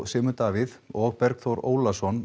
Sigmund Davíð og Bergþór Ólason